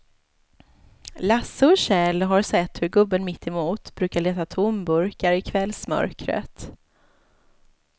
Lasse och Kjell har sett hur gubben mittemot brukar leta tomburkar i kvällsmörkret.